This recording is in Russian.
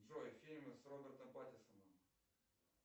джой фильмы с робертом паттисоном